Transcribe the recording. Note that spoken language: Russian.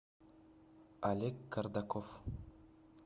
олег кардаков